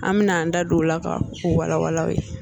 An be na an da don o la ka o wala wala aw ye